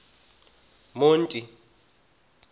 monti